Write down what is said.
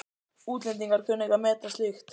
Útlendingar kunna ekki að meta slíkt.